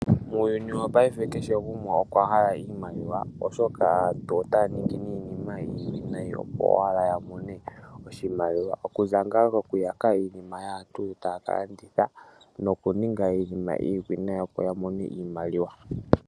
Muyuni wopayife kehe gumwe okwahala iimaliwa oshoka aantu otaya ningi iinima iiwinayi opo owala yamone iimaliwa okuza ngaa koku yaka nokuninga iinima iiwinayi yamone iimaliwa .